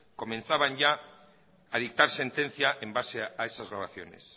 comenzaban ya a dictar sentencia en base a esas grabaciones